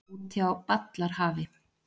Úti á ballarhafi.